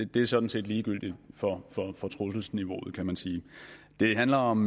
det er sådan set ligegyldigt for trusselsniveauet kan man sige det handler om